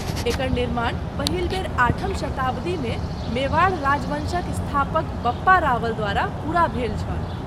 एकर निर्माण पहिल बेर आठम शताब्दीमे मेवाड़ राजवँशक स्थापक बप्पा रावल द्वारा पूरा भेल छल।